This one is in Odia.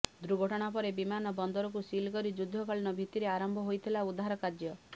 ଦୁର୍ଘଟଣା ପରେ ବିମାନ ବନ୍ଦରକୁ ସିଲ କରି ଯୁଦ୍ଧକାଳୀନ ଭିତିରେ ଆରମ୍ଭ ହୋଇଥିଲା ଉଦ୍ଧାର କାର୍ଯ୍ୟ